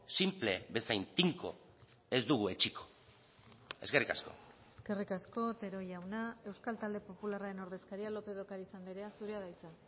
sinple bezain tinko ez dugu etsiko eskerrik asko eskerrik asko otero jauna euskal talde popularraren ordezkaria lópez de ocariz andrea zurea da hitza